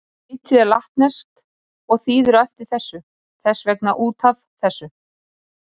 Heitið er latneskt og þýðir á eftir þessu, þess vegna út af þessu.